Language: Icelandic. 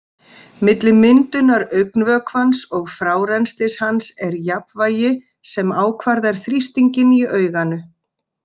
Milli myndunar augnvökvans og frárennslis hans er jafnvægi sem ákvarðar þrýstinginn í auganu.